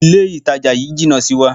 Ilé ìtajà ńlá yí jìnà sí wa.